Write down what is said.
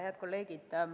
Head kolleegid!